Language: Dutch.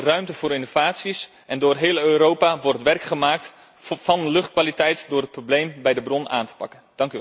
We houden ruimte voor innovaties en door heel Europa wordt werk gemaakt van luchtkwaliteit door het probleem bij de bron aan te pakken.